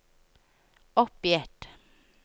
oppgitt